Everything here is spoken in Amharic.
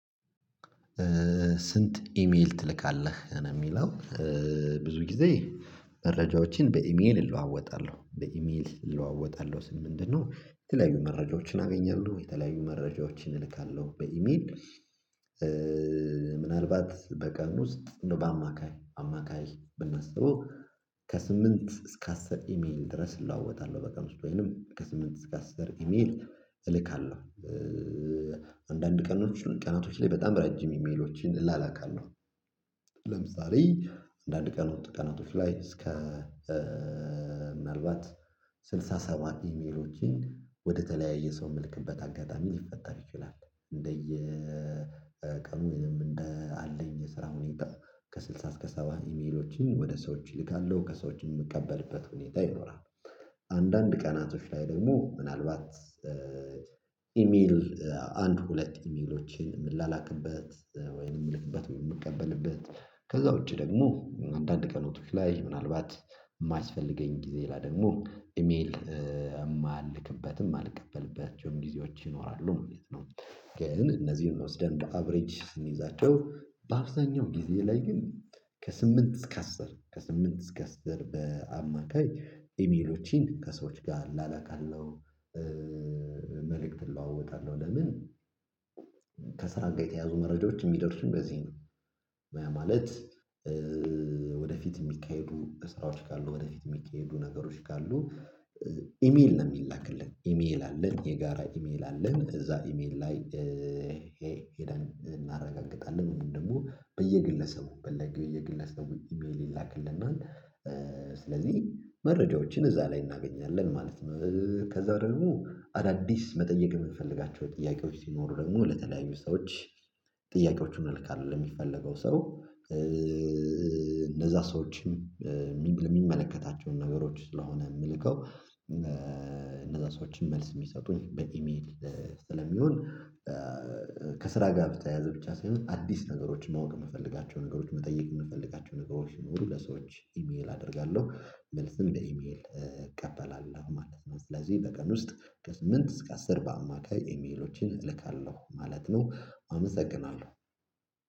ስንት ኢሜል ትልካለህ ነው የሚለው? ብዙ ጊዜ መረጃዎችን በኢሜል እለዋወጣለሁ በኢሜል እለዋወጣለሁ ስል ምንድነው የተለያዩ መረጃዎችን አገኛለሁ የተለያዩ መረጃዎችን እልካለሁ በኢሜል። ምናልባት በቀን ውስጥ እንደው በአማካይ አማካይ ብናስበው ከስምንት እስከ አስር ኢሜል ድረስ እለዋወጣለሁ በቀን ውስጥ ወይንም ከስምንት እስከ አስር ኢሜል እልካለሁ። አንዳንድ ቀናቶች ላይ በጣም ረጅም ኢሜሎችን እላላካለሁ ለምሳሌ አንዳንድ ቀናቶች ላይ እስከ ምናልባት ስልሳ ሰባት ኢሜሎችን ወደተለያየ ሰው መልክበት አጋጣሚ ሊፈጠር ይችላል እንደየ ቀኑ ወይም እንደ አለኝ የስራ ሁኔታው ከስድሳ እስከ ሰባ ኢሜሎችን ወደ ሰዎች እልካለሁ ከሰዎችም የምቀበልበት ሁኔታ ይኖራል። አንዳንድ ቀናቶች ላይ ደግሞ ምናልባት ኢሜል አንድ ሁለት ኢሜሎችን የምላላክበት ወይንም የምልክበት ወይንም የምቀበልበት ከዛ ውጪ ደግሞ አንዳንድ ቀናቶች ላይ ምናልባት የማያስፈልገኝ ጊዜ ላይ ደግሞ ኢሜል የማልክበትም ማልቀበልባቸውም ጊዜዎች ይኖራሉ ማለት ነው። ግን እነዚህን ወስደን እንደ አቬሬጅ ስንይዛቸው በአብዛኛው ጊዜ ላይ ግን ከስምንት እስከ አስር ከስምንት እስከ አስር በአማካይ ኢሜሎችን ከሰዎች ጋር እላላካለሁ። መልእክት እለዋወጣለሁ ለምን ከስራ ጋር የተያያዙ መረጃዎች የሚደርሱኝ በዚህ ነው። ያ ማለት ወደፊት የሚካሄዱ ስራዎች ካሉ ወደፊት የሚካሄዱ ነገሮች ካሉ ኢሜል ነው የሚላክልን ኢሜል አለን የጋራ ኢሜል አለን እዛ ኢሜል ላይ እናረጋግጣለን እንዲሁም ደግሞ በየግለሰቡ የግለሰቡ ኢሜል ይላክልናል። ስለዚህ መረጃዎችን እዛ ላይ እናገኛለን ማለት ነው። ከዛ ደግሞ አዳዲስ መጠየቅ የምንፈልጋቸው ጥያቄዎች ሲኖሩ ደግሞ ለተለያዩ ሰዎች ጥያቄዎቹን አልካለሁ ለሚፈለገው ሰው እነዛ ሰዎችም የሚመለከታቸውን ነገሮች ስለሆኑ የምልከው እነዛ ሰዎችም መልስ የሚሰጡኝ በኢሜል ስለሚሆን ከስራ ጋር በተያያዘ ብቻ ሳይሆን አዲስ ነገሮችን ማወቅ የምፈልጋቸው ነገሮችን መጠየቅ የምፈልጋቸው ነገሮች ሲኖሩ ለሰዎች ኢሜል አደርጋለሁ መልስም በኢሜል እቀበላለሁ ማለት ነው። ስለዚህ በቀን ውስጥ ከስምንት እስከ አስር በአማካይ ኢሜሎችን እልካለሁ ማለት ነው። አመሰግናለሁ